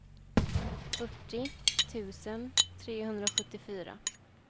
fyrtio tusen trehundrasjuttiofyra